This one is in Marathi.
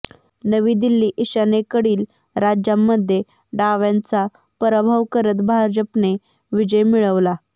नवी दिल्ली ईशान्येकडील राज्यांमध्ये डाव्यांचा पराभव करत भाजपने विजय मिळवला